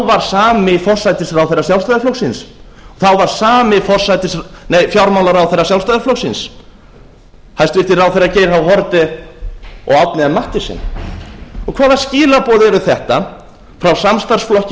var sami forsætisráðherra sjálfstæðisflokksins þá var sami fjármálaráðherra sjálfstæðisflokksins hæstvirtir ráðherrar geir h haarde og árni m mathiesen hvaða skilaboð eru þetta frá samstarfsflokki í